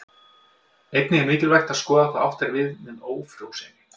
Einnig er mikilvægt að skoða hvað átt er við með ófrjósemi.